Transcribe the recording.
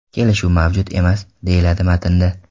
Kelishuv mavjud emas!” deyiladi matnda.